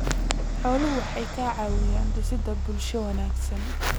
Xooluhu waxay ka caawiyaan dhisidda bulsho wanaagsan.